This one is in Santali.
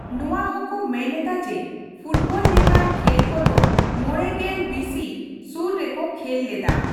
ᱱᱚᱣᱟ ᱦᱚᱸ ᱠᱚ ᱢᱮᱱ ᱮᱫᱟ ᱡᱮ ᱯᱷᱩᱴᱵᱚᱞ ᱞᱮᱠᱟᱱ ᱠᱷᱮᱞ ᱠᱚᱫᱚ ᱢᱚᱬᱮ ᱜᱮᱞ ᱵᱤᱥᱤ ᱥᱩᱨ ᱨᱮᱠᱚ ᱠᱷᱮᱞ ᱞᱮᱫᱟ ᱾